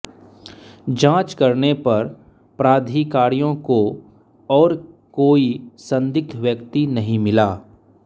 जांच करने पर प्राधिकारियों को और कोई संदिग्ध व्यक्ति नहीं मिला